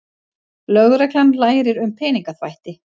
Lögreglan lærir um peningaþvætti